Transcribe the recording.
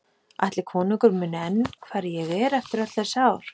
Ætli konungur muni enn hver ég er eftir öll þessi ár?